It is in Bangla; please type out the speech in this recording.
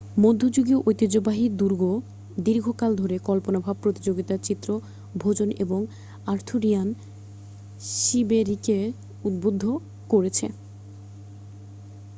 মধ্যযুগীয় ঐতিহ্যবাহী দুর্গ দীর্ঘকাল ধরে কল্পনাভাব প্রতিযোগিতার চিত্র ভোজন এবং আর্থুরিয়ান শিবেরিকে উদ্বুদ্ধ করেছে